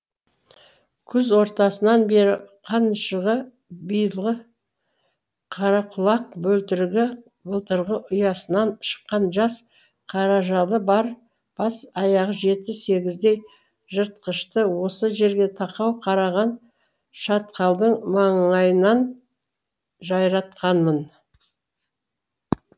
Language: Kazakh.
күз ортасынан бері қаншығы биылғы қарақұлақ бөлтірігі былтырғы ұясынан шыққан жас қаражалы бар бас аяғы жеті сегіздей жыртқышты осы жерге тақау қараған шатқалдың маңайынан жайратқанмын